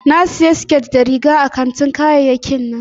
Na sayi siket da riga a kantin kayayyakin nan